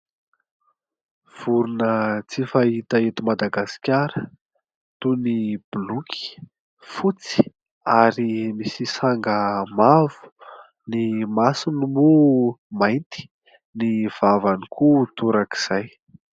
Vorona tsy fahita eto Madagasikara toy ny blôky fotsy ary misy sanga mavo, ny masony moa mainty, ny vavany koa toraka izay.